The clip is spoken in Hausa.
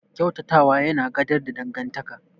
Ƙyautata wa yana gadar da dangantaka.